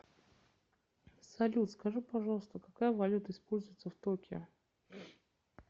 салют скажи пожалуйста какая валюта используется в токио